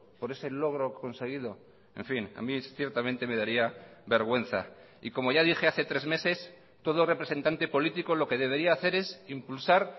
por ese logro conseguido en fin a mí ciertamente me daría vergüenza y como ya dije hace tres meses todo representante político lo que debería hacer es impulsar